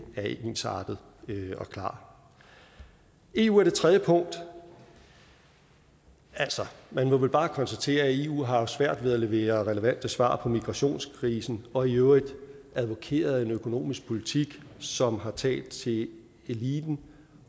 er ensartet og klar eu er det tredje punkt altså man må vel bare konstatere at eu har haft svært ved at levere relevante svar på migrationskrisen og i øvrigt advokeret for en økonomisk politik som har talt til eliten